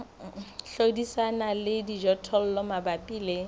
hlodisana le dijothollo mabapi le